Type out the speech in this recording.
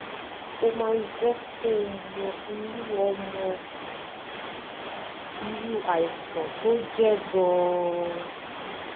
ó máa jẹ́ kó o mọ irú o mọ irú àìsàn tó jẹ́ gan-an